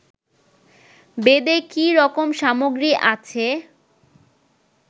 বেদে কি রকম সামগ্রী আছে